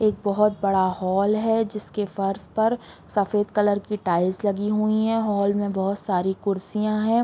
एक बहुत बड़ा हॉल है जिसके फर्श पर सफ़ेद कलर की टाइल्स लगी हुई है हॉल में बहुत सारी कुर्सियां है।